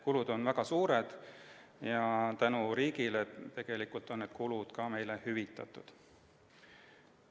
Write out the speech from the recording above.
Kulud on väga suured ja tänu riigile on need kulud meile hüvitatud.